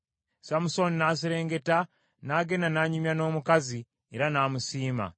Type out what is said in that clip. Samusooni n’aserengeta n’agenda n’anyumya n’omukazi era n’amusiima.